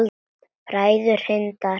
Bræður Hindar